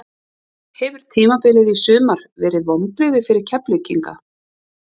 Hefur tímabilið í sumar verið vonbrigði fyrir Keflvíkinga?